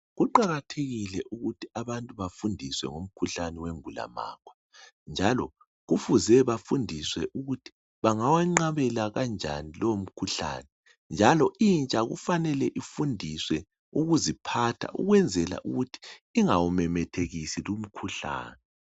kuqakathekile ukuthi bantu bafundiswe ngomkhuhlane wengulamagwe njalo kufuze bafundiswe ukuthi bangawenqabela kanjani lowu mkhuhlane njalo intsha kufanele ifundiswe ukuziphatha ukwenzela ukuthi ingawumemethekisi lowu mkhuhlane